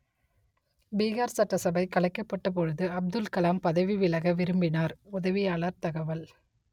பீஹார் சட்டசபை கலைக்கப்பட்டபொழுது அப்துல் கலாம் பதவி விலக விரும்பினார் உதவியாளர் தகவல்